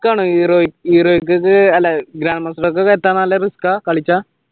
heroic